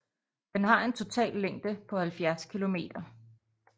Den har en total længde på 70 km